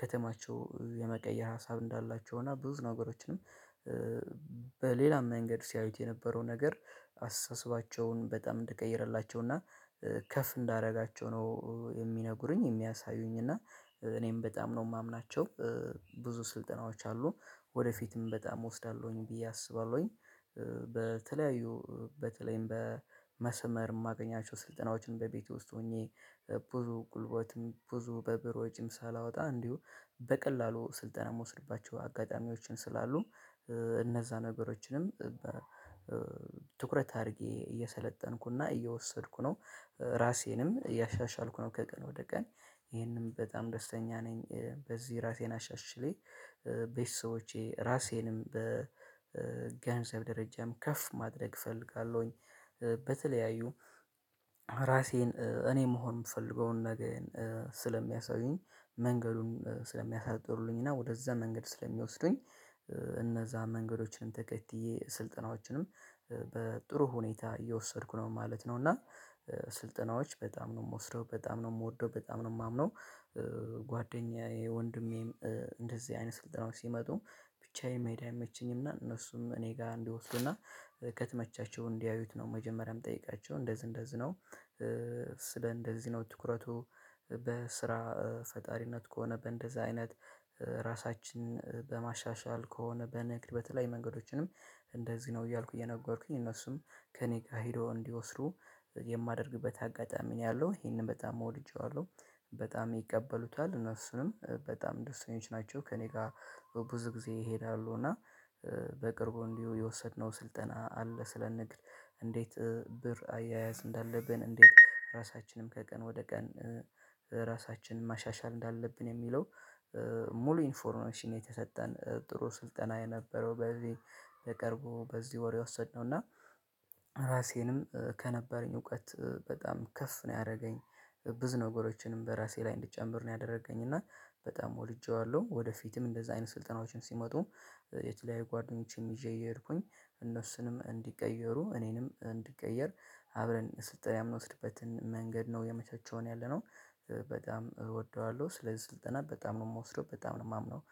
ከተማቸው የመቀየር ሀሳብ እንዳላቸው እና ብዙ ነገሮችንም በሌላም መንገድ ሲያዩት የነበረው ነገር አስተሳሰባቸውን በጣም እንደቀየረላቸው እና ከፍ እንዳደረጋቸው ነው የሚነግሩኝ የሚያሳዩኝ እና እኔም በጣም ነው የማምናቸው። ብዙ ስልጠናዎች አሉ ወደፊትም በጣም እወስዳለሁኝ ብዬ አስባለሁኝ። በተለያዩ በተለይም በመስመር የማገኛቸው ስልጠናዎችን በቤቴ ውስጥ ሆኜ ብዙ ጉልበትም ብዙ በብር ወጪም ሳላወጣ እንዲሁ በቀላሉ ስልጠና ምወስድባቸው አጋጣሚዎችም ስላሉ። እነዛ ነገሮችንም በትኩረት አድርጌ እየሰለጠንኩና እየወሰድኩ ነው። ራሴንም እያሻሻልኩ ነው ከቀን ወደ ቀን ይሄንም በጣም ደስተኛ ነኝ። በዚህ ራሴን አሻሽሌ ቤተሰቦቼ ራሴንም በገንዘብ ደረጃም ከፍ ማድረግ እፈልጋለሁኝ። በተለያዩ ራሴን እኔ መሆን የምፈልገውን ነገዬን ስለሚያሳዩኝ መንገዱን ስለሚያሳጥሩልኝ እና ወደዛ መንገድ ስለሚወስዱኝ። እነዛ መንገዶችንም ተከትዬ ስልጠናዎችንም በጥሩ ሁኔታ እየወሰድኩ ነው ማለት ነው። እና ስልጠናዎች በጣም ነው የምወስደው በጣም ነው የምወደው በጣም ነው የማምነው። ጓደኛዬ ወንድሜም እንደዚህ አይነት ስልጠናዎች ሲመጡ ብቻዬን መሄድ አይመቸኝምና እነሱም እኔ ጋር እንዲወስዱና ከተመቻቸው እንዲያዩት ነው መጀመሪያም ምጠይቃቸው እንደዚህ እንደዚህ ነው። ስለ እንደዚህ ነው ትኩረቱ በስራ ፈጣሪነት ከሆነ በእንደዛ አይነት ራሳችንን በማሻሻል ከሆነ በንግድ በተለይ መንገዶችንም እንደዚህ ነው እያልኩ እየነገርኩኝ እነሱም ከእኔ ጋር ሄዶ እንዲወስዱ የማደርግበት አጋጣሚ ነው ያለው ይሄንን በጣም ወድጄዋለሁ። በጣም ይቀበሉታል እነሱንም በጣም ደስተኞች ናቸው ከእኔ ጋር። ብዙ ጊዜ ይሄዳሉ እና በቅርቡ እንዲሁ የወሰድነው ስልጠና አለ ስለ ንግድ እንዴት ብር አያያዝ እንዳለብን እንዴት ራሳችንም ከቀን ወደ ቀን ራሳችንን ማሻሻል እንዳለብን የሚለው። ሙሉ ኢንፎርሜሽን የተሰጠን ጥሩ ስልጠና የነበረው በዚህ በቀርቡ በዚህ ወር የወሰድነው እና ራሴንም ከነበረኝ እውቀት በጣም ከፍ ነው ያረገኝ። ብዙ ነገሮችንም በራሴ ላይ እንድጨምር ነው ያደረገኝ እና በጣም ወድጄዋለሁ። ወደፊትም እንደዚህ አይነት ስልጠናዎችን ሲመጡ የተለያየ ጓደኞቼንም ይዤ እየሄድኩኝ እነሱንም እንዲቀየሩ እኔንም እንዲቀየር አብረን ስልጠና የምንወስድበትን መንገድ ነው እያመቻቸውን ያለነው። በጣም እወደዋለሁ ስለዚህ ስልጠና በጣም ነው የምወስደው በጣም ነው የማምነው